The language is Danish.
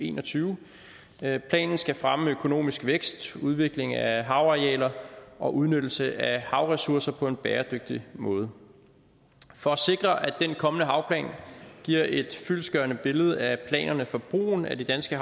en og tyve planen skal fremme økonomisk vækst udvikling af havarealer og udnyttelse af havressourcer på en bæredygtig måde for at sikre at den kommende havplan giver et fyldestgørende billede af planerne for brugen af de danske